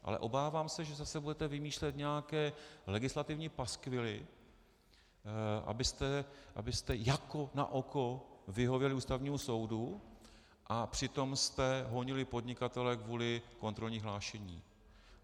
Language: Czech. Ale obávám se, že zase budete vymýšlet nějaké legislativní paskvily, abyste jako na oko vyhověli Ústavnímu soudu a přitom jste honili podnikatele kvůli kontrolnímu hlášení.